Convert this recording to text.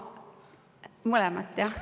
Mõlemat, jah?